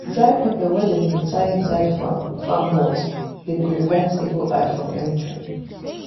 dry pepper wey dem dey tie inside farm hut dey prevent evil eye from entering.